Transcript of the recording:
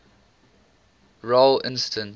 role instance